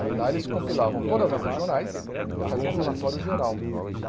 Aí lá eles compilavam todas as regionais e faziam um relatório geral.